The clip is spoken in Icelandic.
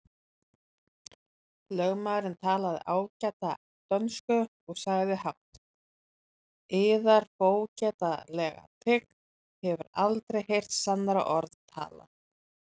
Lögmaðurinn talaði ágæta dönsku og sagði hátt:-Yðar fógetalega tign hefur aldrei heyrt sannara orð talað!